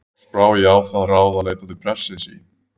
Loks brá ég á það ráð að leita til prestsins í